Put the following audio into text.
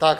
Tak.